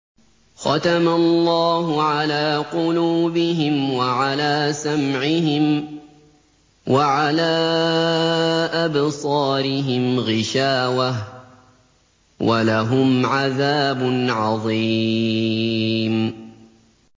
خَتَمَ اللَّهُ عَلَىٰ قُلُوبِهِمْ وَعَلَىٰ سَمْعِهِمْ ۖ وَعَلَىٰ أَبْصَارِهِمْ غِشَاوَةٌ ۖ وَلَهُمْ عَذَابٌ عَظِيمٌ